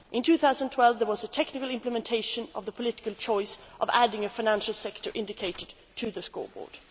In 2012, there was a technical implementation of the political choice of adding a financial sector indicator to the scoreboard.